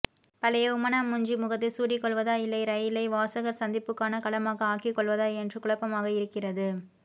பழைய உம்மணாமூஞ்சி முகத்தை சூடிக்கொள்வதா இல்லை ரயிலை வாசகர்சந்திப்புக்கான களமாக ஆக்கிக்கொள்வதா என்று குழப்பமாக இருக்கிறது